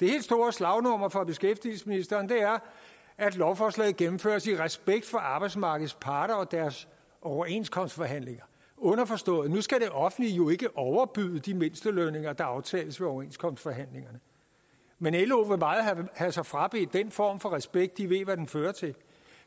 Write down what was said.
det helt store slagnummer fra beskæftigelsesministeren er at lovforslaget gennemføres i respekt for arbejdsmarkedets parter og deres overenskomstforhandlinger underforstået at nu skal det offentlige jo ikke overbyde de mindstelønninger der aftales ved overenskomstforhandlingerne men lo vil meget have sig frabedt den form for respekt for de ved hvad den fører til